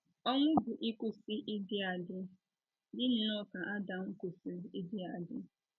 Ọnwụ bụ ịkwụsị ịdị adị, dị nnọọ ka Adam kwụsịrị ịdị adị.